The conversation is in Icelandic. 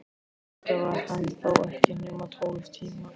Auðvitað var hann þó ekki nema tólf tímar.